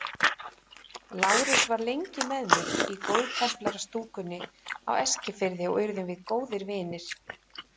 Lárus var lengi með mér í góðtemplarastúkunni á Eskifirði og urðum við góðir vinir.